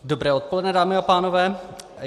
Dobré odpoledne, dámy a pánové.